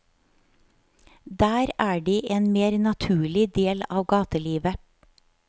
Der er de en mer naturlig del av gatelivet.